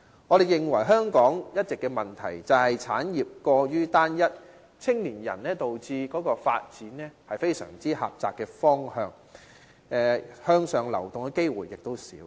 我們認為香港一直的問題就是，產業過於單一，導致青年人的發展非常狹窄，向上流動的機會少。